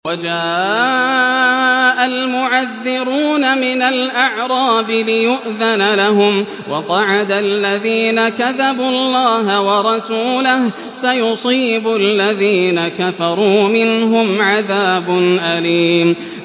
وَجَاءَ الْمُعَذِّرُونَ مِنَ الْأَعْرَابِ لِيُؤْذَنَ لَهُمْ وَقَعَدَ الَّذِينَ كَذَبُوا اللَّهَ وَرَسُولَهُ ۚ سَيُصِيبُ الَّذِينَ كَفَرُوا مِنْهُمْ عَذَابٌ أَلِيمٌ